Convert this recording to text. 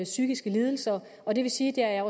psykiske lidelser og det vil sige at